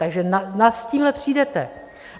Takže kam s tímhle přijdete?